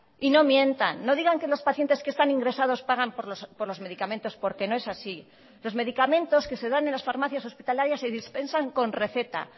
y no mientan no digan que los pacientes que están ingresados pagan por los medicamentos porque no es así los medicamentos que se dan en las farmacias hospitalarias se dispensan con receta